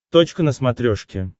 точка на смотрешке